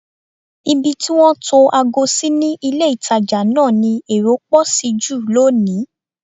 Ibi tí wọ́n tó ago sí ní ilé-ìtàjà náà ni èrò pọ̀ sí jù lónìí